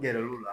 Gɛrɛl'o la